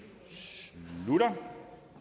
slutter